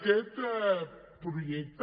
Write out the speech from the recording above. aquest projecte